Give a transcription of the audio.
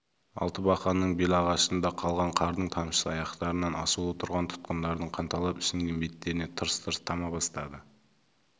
алтыбақанның белағашында қалған қардың тамшысы аяқтарынан асулы тұрған тұтқындардың қанталап ісінген беттеріне тырс-тырс тама бастады